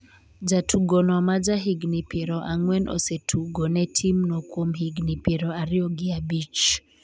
jatugono maja higni piero ang'wen osetugo ne timno kuom higni piero ariyo gi abich